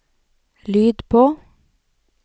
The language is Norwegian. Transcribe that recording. lyd på